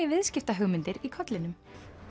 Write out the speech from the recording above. viðskiptahugmyndir í kollinum